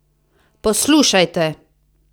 Poslušajte!